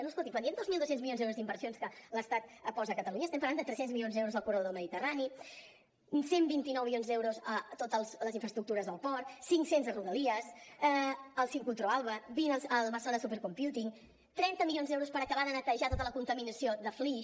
no escolti’m quan diem dos mil dos cents milions d’euros d’inversions que l’estat posa a catalunya estem parlant de tres cents milions d’euros al corredor del mediterrani cent i vint nou milions d’euros a totes les infraestructures del port cinc cents a rodalies al sincrotró alba vint al barcelona supercomputing trenta milions d’euros per acabar de netejar tota la contaminació de flix